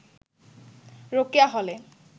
রোকেয়া হলে